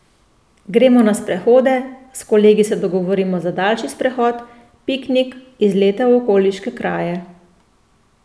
Gremo na sprehode, s kolegi se dogovorimo za daljši sprehod, piknik, izlete v okoliške kraje.